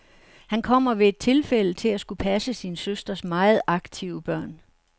Han kommer ved et tilfælde til at skulle passe sin søsters meget aktive børn.